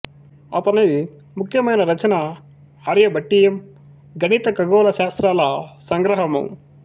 అతని ముఖ్యమైన రచన ఆర్యభట్టీయం గణిత ఖగోళ శాస్త్రాల సంగ్రహము